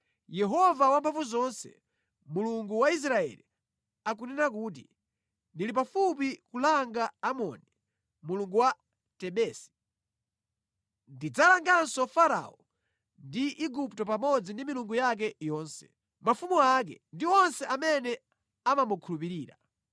Yehova Wamphamvuzonse, Mulungu wa Israeli, akunena kuti, “Ndili pafupi kulanga Amoni mulungu wa Tebesi. Ndidzalanganso Farao ndi Igupto pamodzi ndi milungu yake yonse, mafumu ake ndi onse amene amamukhulupirira.